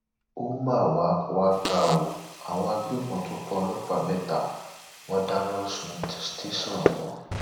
ó mà wàá wàá ga ọ àwọn agbébọn tún pa ọlọpàá mẹta wọn dáná sun tẹsán wọn